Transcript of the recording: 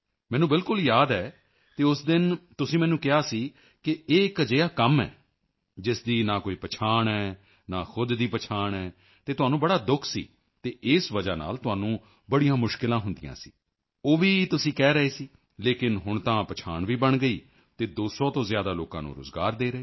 ਮੈਨੂੰ ਬਿਲਕੁਲ ਯਾਦ ਹੈ ਅਤੇ ਉਸ ਦਿਨ ਤੁਸੀਂ ਮੈਨੂੰ ਕਿਹਾ ਸੀ ਕਿ ਇਹ ਇਕ ਅਜਿਹਾ ਕੰਮ ਹੈ ਜਿਸ ਦੀ ਨਾ ਕੋਈ ਪਛਾਣ ਹੈ ਨਾ ਖੁਦ ਦੀ ਪਛਾਣ ਹੈ ਅਤੇ ਤੁਹਾਨੂੰ ਬੜਾ ਦੁਖ ਸੀ ਅਤੇ ਇਸ ਵਜ੍ਹਾ ਨਾਲ ਤੁਹਾਨੂੰ ਬੜੀਆਂ ਮੁਸ਼ਕਿਲਾਂ ਹੁੰਦੀਆਂ ਸੀ ਉਹ ਵੀ ਤੁਸੀਂ ਕਹਿ ਰਹੇ ਸੀ ਲੇਕਿਨ ਹੁਣ ਤਾਂ ਪਛਾਣ ਵੀ ਬਣ ਗਈ ਅਤੇ 200 ਤੋਂ ਜ਼ਿਆਦਾ ਲੋਕਾਂ ਨੂੰ ਰੋਜ਼ਗਾਰ ਦੇ ਰਹੇ ਹੋ